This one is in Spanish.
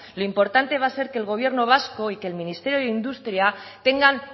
lo importante va a ser que el gobierno vasco y que el ministerio de industria tengan